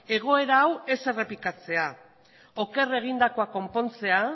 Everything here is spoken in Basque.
egoera hau ez errepikatzea oker egindakoa konpontzea